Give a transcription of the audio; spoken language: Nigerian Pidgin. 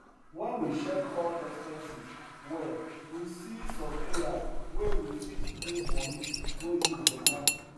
when we check all expenses well we see some areas wey we fit move money go use better